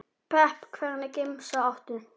pepp Hvernig gemsa áttu?